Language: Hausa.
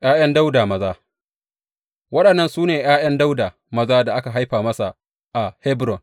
’Ya’yan Dawuda maza Waɗannan su ne ’ya’yan Dawuda maza da aka haifa masa a Hebron.